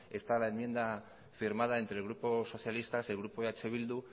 está la enmienda firmada entre el grupo socialista y el grupo eh bildu